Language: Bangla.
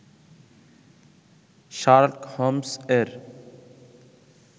শার্লক হোম্স্-এর